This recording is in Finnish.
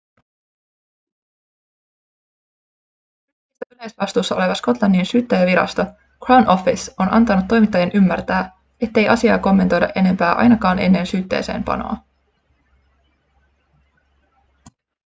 syytteistä yleisvastuussa oleva skotlannin syyttäjänvirasto crown office on antanut toimittajien ymmärtää ettei asiaa kommentoida enempää ainakaan ennen syytteeseenpanoa